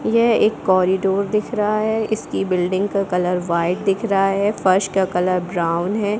यह एक कॉरिडोर दिख रहा है इसकी बिल्डिंग का कलर वाइट दिख रहा है फर्श का कलर ब्राउन है।